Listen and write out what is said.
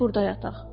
Gecəni burda yataq.